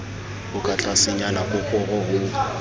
o ka tlasenyana koporo ho